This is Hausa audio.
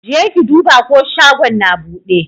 Jeki duba ko shagon na buɗe?